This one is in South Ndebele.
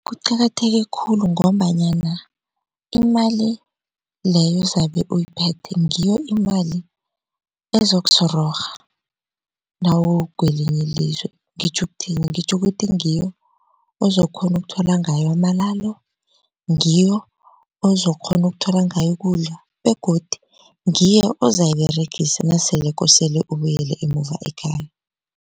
Kuqakatheke khulu ngombanyana imali leyo zabe uyiphethe ngiyo imali ezokusororha nawukwelinye ilizwe. Ngitjho ukuthini, ngitjho ukuthi ngiyo ozokukghona ukuthola ngayo amalalo, ngiyo ozokukghona ukuthola ngayo ukudla begodu ngiyo ozayiberegisa nasele kosele ibuyele emuva ekhaya.